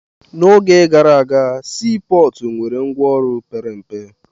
N'oge gara aga, sii pọọtụ nwere ngwaọrụ pere mpe.